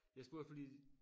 Jeg spurgte fordi